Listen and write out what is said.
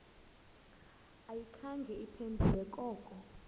ayikhange iphendule koko